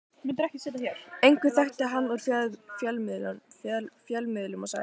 Einhver þekkti hann úr fjölmiðlum og sagði